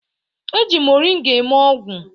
E ji mọrịnga eme ogwụ